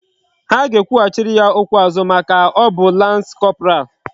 Ha ga ekwu hachiri ya okwu azu maka o bu lance corporal